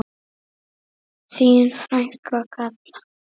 Þín frænka, Kalla.